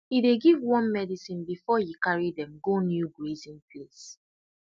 he dey give worm medicine before he carry dem go new grazing place